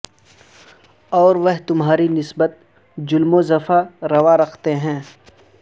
اور وہ تمہاری نسبت ظلم و جفا روا رکھتے ہیں